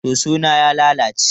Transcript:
Soso na ya lalace.